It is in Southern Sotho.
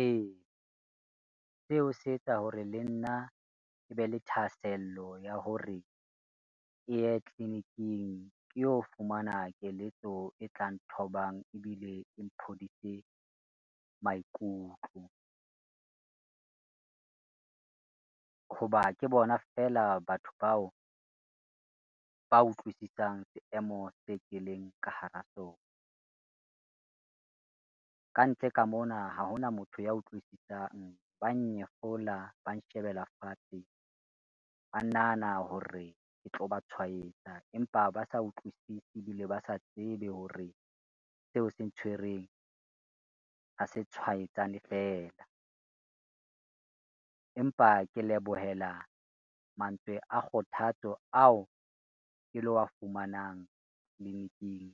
E, seo se etsa hore le nna je be le thahasello ya hore, ke ye tliliniking ke yo fumana keletso e tlang thobang ebile e mphodise maikutlo. Ho ba ke bona feela batho bao ba utlwisisang seemo se ke leng ka hara sona. Kantle ka mona ha ho na motho ya utlwisisang, ba nnyefola, ba nshebela fatshe, ka nahana hore ke tlo ba tshwaetsa, empa ba sa utlwisise ebile ba sa tsebe hore seo se ntshwereng ha se tshwaetsane fela. Empa ke lebohela mantswe a kgothatso ao ke lo wa fumanang tliliniking,